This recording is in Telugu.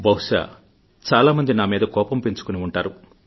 బహుశా చాలామంది నా మీద కోపం పెంచుకుని ఉంటారు